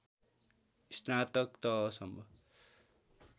स्नातक तहसम्म